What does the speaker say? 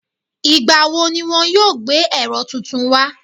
Ìgbà wo ni wọn yóò gbé ẹ̀rọ tuntun wá?